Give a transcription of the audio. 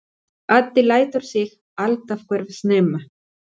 Addi lætur sig alltaf hverfa snemma.